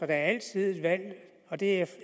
er altid et valg og det